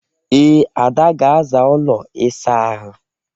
Ee, Ada ga-aza ụlọ ịsa ahụ.